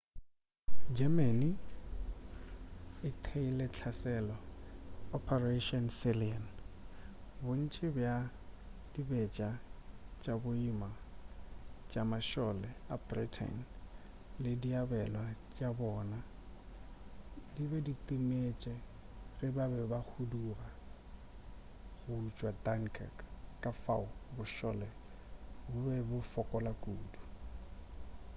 germany e theeile hlaselo operation sealion bontši bja dibetša tša boima tša mašole a britain le diabelwa tša bona di be di timetše ge ba be ba huduga go tšwa dunkirk ka fao bošole bo be bo fokola kudu